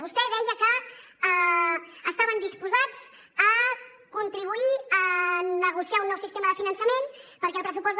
vostè deia que estaven disposats a contribuir a negociar un nou sistema de finançament perquè al pressupost del